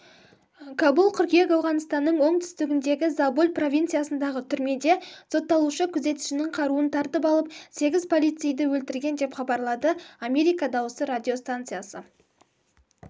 кабул қыркүйек ауғанстанның оңтүстігіндегі забуль провинциясындағы түрмеде сотталушы күзетшінің қаруын тартып алып сегіз полицейді өлтірген деп хабарлады америка дауысы радиостанциясы